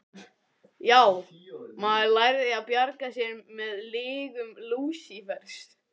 Já, maður lærði að bjarga sér með lygum Lúsífers.